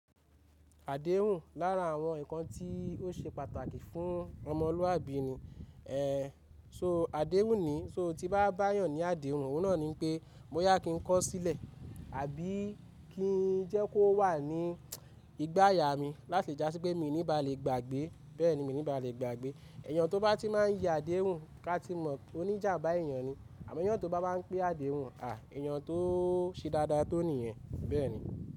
Àdéhùn lára àwọn ǹkan tí ó ṣe pàtàkì fún ọmọlúàbí ni. Ehn, so àdéhùn nii, so tí bá bá èèyàn ní àdéhùn, òun náà ní pé mó yá kí n kọ̀ sílẹ̀ àbí kí n jẹ́ kó wà ní igbá ayà mi láti jà sí pé mi ò ní ba lè gbàgbé. Bẹ́ẹ̀ni mi ní ba lè gbàgbé. Èèyàn tó bá ti máa ń ya àdéhùn ká ti mọ̀ oníjàbá èèyàn ni. Àmọ́ èèyàn tó bá máa ń pe àdéhùn, àh, èèyàn tó ṣe dáadáa tó nìyẹn, bẹ́ẹ̀ni.